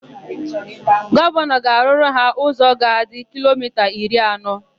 Gọvanọ ga-arụrụ ha ụzọ ga-adị kilomita iri anọ.